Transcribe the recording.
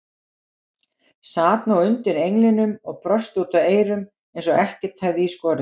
Sat nú undir englinum og brosti út að eyrum eins og ekkert hefði í skorist.